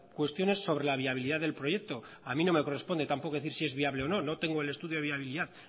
cuestiones sobre la viabilidad del proyecto a mí no me corresponde tampoco decir si es viable o no no tengo el estudio de viabilidad